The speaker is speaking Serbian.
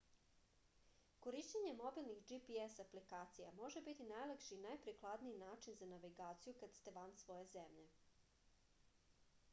korišćenje mobilnih gps aplikacija može biti najlakši i najprikladniji način za navigaciju kada ste van svoje zemlje